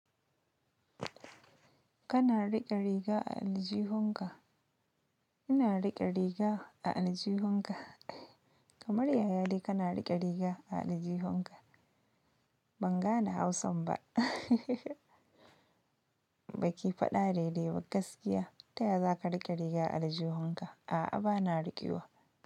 Kana riƙe riga a aljihunka. Ina riƙe riga da aljihunka. Kamar yaya ne kana riƙe riga a aljihunka? Ban gane Hausan ba. Ahehehe. Baki faɗa daidai ba gaskiya. Ta yaya za ka riƙe riga aljihunka? A'a, bana riƙewa.